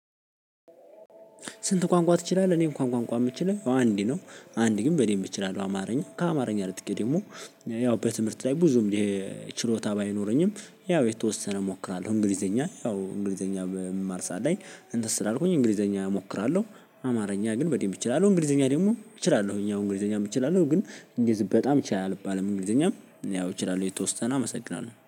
"ስንት ቋንቋ ትችላለህ?" እኔ እንኳን ቋንቋ የምችለው ያው አንድ ነው። አንድ ግን በደንብ እችላለሁ አማርኛ ከአማርኛ ነጥቄ ደግሞ ያው በትምህርት ላይ ብዙም ይሄ ችሎታ ባይኖረኝም ያው የተወሰነ እሞክራለሁ እንግሊዘኛ። ያው እንግሊዘኛ በምማር ሰዓት ላይ እንትን ስላልኩኝ እንግሊዘኛ እሞክራለሁ። አማርኛ ግን በደንብ እችላለሁ እንግሊዘኛ ደግሞ እችላለሁኝ ያው እንግሊዘኛም እችላለሁ ግን እንግሊዝ በጣም ይችላል አልባልም እንግሊዘኛም ያው ያው እችላለሁ የተወሰነ አመሰግናለሁ።